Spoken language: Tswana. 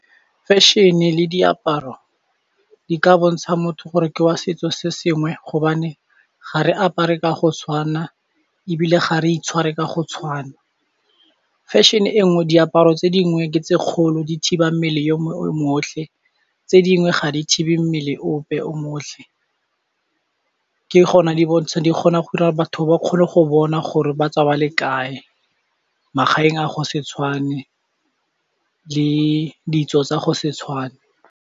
Fashion le diaparo di ka bontsha motho gore ke wa setso se sengwe hobane ga re apare ka go tshwana ebile ga re itshware ka go tshwana. Fashion e nngwe diaparo tse dingwe ke tse kgolo di thiba mmele otlhe, tse dingwe ga di thibe mmele ope o mo otlhe ke gona di bontsha, di kgona go dira gore batho ba kgone go bona gore ba tswa ba le kae, magaeng a go se tshwane le ditso tsa go se tshwane.